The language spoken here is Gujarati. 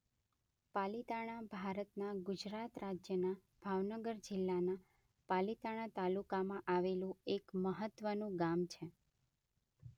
પાલીતાણા ભારતના ગુજરાત રાજ્યના ભાવનગર જિલ્લાના પાલીતાણા તાલુકામાં આવેલું એક મહત્વનું ગામ છે.